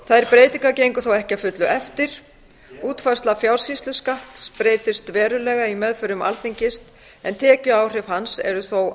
þær breytingar gengu þó ekki að fullu eftir útfærsla fjársýsluskatts breyttist verulega í meðförum alþingis en tekjuáhrif hans eru þó